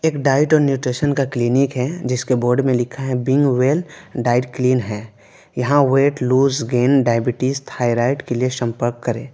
एक डाइट और न्यूट्रिशन का क्लीनिक है जिसके बोर्ड में लिखा है बिंग वेल डाइट क्लीन है यहां weight loose gain diabetes thyroid के लिए संपर्क करे।